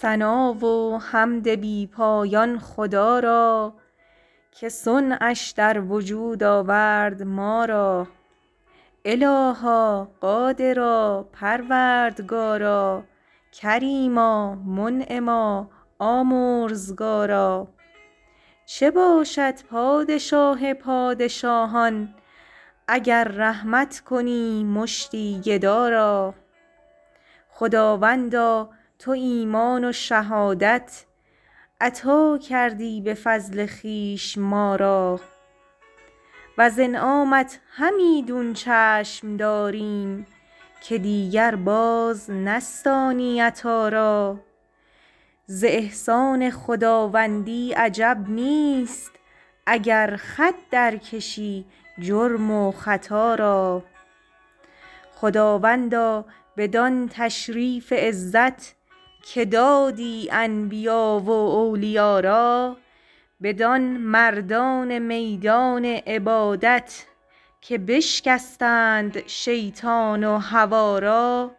ثنا و حمد بی پایان خدا را که صنعش در وجود آورد ما را الها قادرا پروردگارا کریما منعما آمرزگارا چه باشد پادشاه پادشاهان اگر رحمت کنی مشتی گدا را خداوندا تو ایمان و شهادت عطا دادی به فضل خویش ما را وز انعامت همیدون چشم داریم که دیگر باز نستانی عطا را از احسان خداوندی عجب نیست اگر خط در کشی جرم و خطا را خداوندا بدان تشریف عزت که دادی انبیا و اولیا را بدان مردان میدان عبادت که بشکستند شیطان و هوا را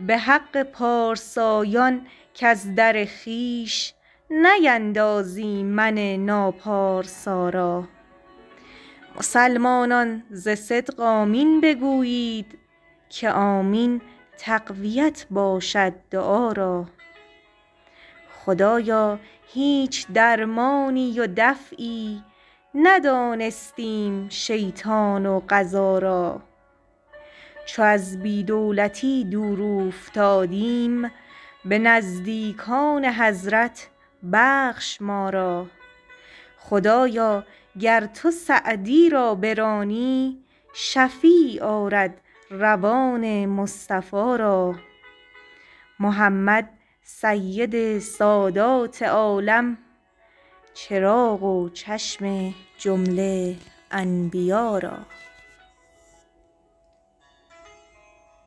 به حق پارسایان کز در خویش نیندازی من ناپارسا را مسلمانان ز صدق آمین بگویید که آمین تقویت باشد دعا را خدایا هیچ درمانی و دفعی ندانستیم شیطان و قضا را چو از بی دولتی دور اوفتادیم به نزدیکان حضرت بخش ما را خدایا گر تو سعدی را برانی شفیع آرد روان مصطفی را محمد سید سادات عالم چراغ و چشم جمله انبیا را